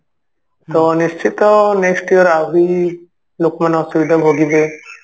ତ ନିଶ୍ଚିତ next year ଆହୁରି ଲୋକମାନେ ଅସୁବିଧା ଭୋଗିବେ